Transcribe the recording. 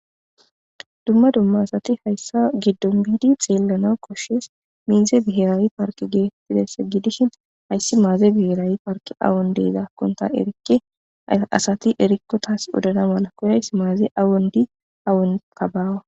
dumma dumma asati hayssa giddon biidi xeellana koshshees miize biherayi parki geettides gidishin hayssi maaze biherayi parki awon deyzaakkonta erikke asati erikkotaas odana mala koyays maaze awondi awon kabaawa